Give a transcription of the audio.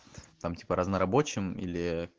там типа разнорабочим или